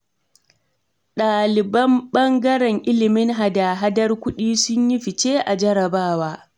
Ɗaliban ɓangaren ilimin hada-ahadar kuɗi su yi fice a jarrabawa.